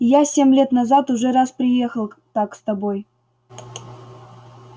я семь лет назад уже раз приехал так с тобой